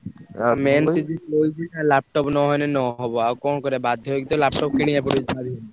ଆଉ ହଉଛି laptop ନ ଆଇଁଲେ ନ ହବ ଆଉ କଣ କରିଆ ବାଧ୍ୟ ହେଇକି laptop କିଣିଆକୁ ପଡିବ ଯାହା ବି ହେଲେ।